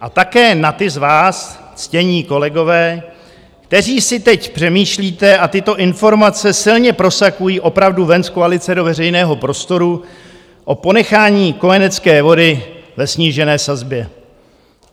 A také na ty z vás, ctění kolegové, kteří si teď přemýšlíte, a tyto informace silně prosakují opravdu ven z koalice do veřejného prostoru, o ponechání kojenecké vody ve snížené sazbě.